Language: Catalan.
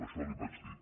això li ho vaig dir